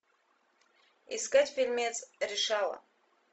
искать фильмец решала